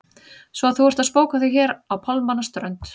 Svo að þú ert að spóka þig hér á pálmanna strönd!